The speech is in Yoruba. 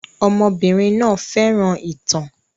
Ọmọbìnrin náà fẹ́ràn ìtàn.